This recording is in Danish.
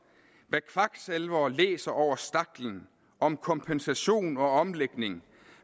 hvad kvaksalvere læser over staklen om kompensation og omlægning